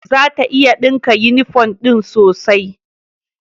Zata iya dinka yunifom din sosai.